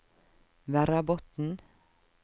Verrabotn